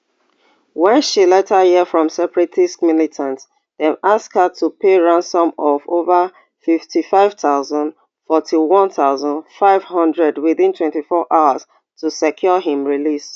wen she later hear from separatist militants dem ask her to pay ransom of ova fifty-five thousand forty-one thousand, five hundred within twenty-four hours to secure im release